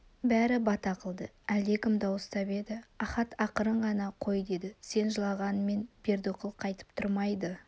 бәрі бата қылды әлдекім дауыстап еді ахат ақырын ғана қой деді сен жылағанмен бердіқұл қайтып тұрмайды